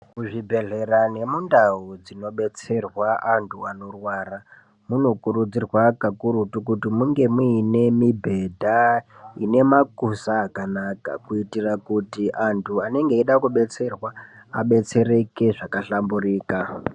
Muzvibhedhlera nemundau dzinobetserwa antu anorwara , munokurudzirwa kakurutu kuti munge muine mibhedha ine makuza akanaka ,kuitire kuti, antu anenge eida kubetserwa, abetsereke zvakahlamburika.